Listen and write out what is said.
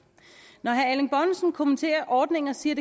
når herre erling bonnesen kommenterer ordningen og siger